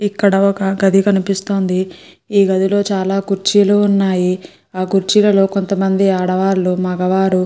ఇక్కడ ఒక గది కనిపిస్తుంది. ఈ గది లో చాల కుర్చీలు ఉన్నాయ్. ఆ కుర్చీలు లో కొంత మంది ఆడవాళ్లు మగవాళ్ళు --